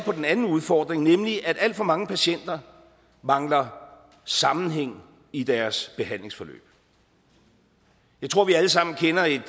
på den anden udfordring nemlig at alt for mange patienter mangler sammenhæng i deres behandlingsforløb jeg tror at vi alle sammen kender et